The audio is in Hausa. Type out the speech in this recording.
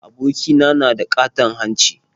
Abokina na da ƙaton hanci